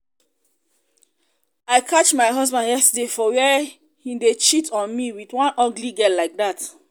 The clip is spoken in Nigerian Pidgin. i catch my husband yesterday for where he dey cheat on me with one ugly girl like dat